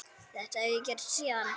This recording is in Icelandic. Þetta hef ég gert síðan.